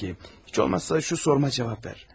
Peki, heç olmazsa şu sualıma cavab ver.